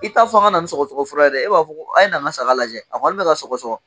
I taa fɔ an ka na ni sɔgɔsɔgɔfura ye dɛ e b'a fɔ a' ye na n ka saga lajɛ a kɔni bɛ ka ka sɔgɔsɔgɔ